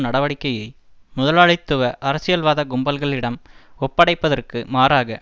நடவடிக்கையை முதலாளித்துவ அரசியல்வாத கும்பல்களிடம் ஒப்படைப்பதற்கு மாறாக